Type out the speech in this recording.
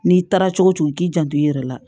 N'i taara cogo cogo k'i janto i yɛrɛ la